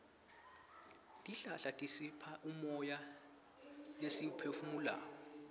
tihlahla tisipha umoya lesiwuphefumulako